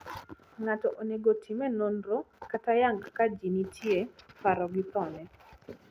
ngato onego time nonro kata yang ka ji nitie paro go thone